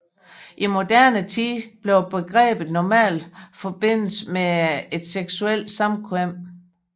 I moderne tid vil begrebet normalt forbindes med et seksuelt samkvem